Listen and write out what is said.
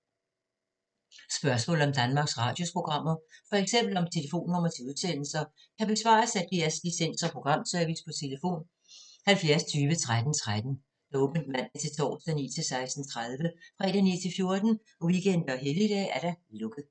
Spørgsmål om Danmarks Radios programmer, f.eks. om telefonnumre til udsendelser, kan besvares af DR Licens- og Programservice: tlf. 70 20 13 13, åbent mandag-torsdag 9.00-16.30, fredag 9.00-14.00, weekender og helligdage: lukket.